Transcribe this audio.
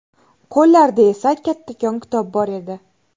Qo‘llarida esa kattakon kitob bor edi.